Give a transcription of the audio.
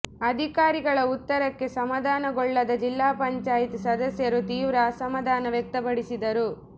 ಅಧಿಕಾರಿಗಳ ಉತ್ತರಕ್ಕೆ ಸಮಾಧಾನಗೊಳ್ಳದ ಜಿಲ್ಲಾ ಪಂಚಾಯಿತಿ ಸದಸ್ಯರು ತೀವ್ರ ಅಸಮಾಧಾನ ವ್ಯಕ್ತಪಡಿಸಿದರು